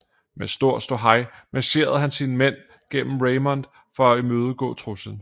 Med stor ståhej marcherede han sine mænd gennem Raymond for at imødegå truslen